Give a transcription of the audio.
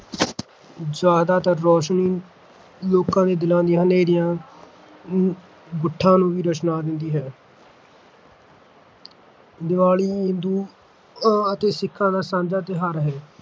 ਜ਼ਿਆਦਾਤਰ ਰੋਸ਼ਨੀ ਲੋਕਾਂ ਦੇ ਦਿਲਾਂ ਦੀਆਂ ਹਨੇਰੀਆਂ ਨੂੰ ਗੁੱਠਾਂ ਨੂੰ ਵੀ ਰੁਸ਼ਨਾ ਦਿੰਦੀ ਹੈ ਦੀਵਾਲੀ ਹਿੰਦੂਆਂ-ਸਿੱਖਾਂ ਦਾ ਸਾਂਝਾ ਤਿਉਹਾਰ ਹੈ